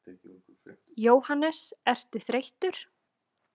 Jóhannes: Ertu þreyttur?